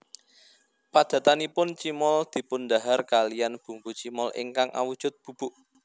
Padatanipun cimol dipundhahar kaliyan bumbu cimol ingkang awujud bubuk